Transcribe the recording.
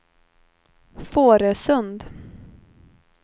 Fårösund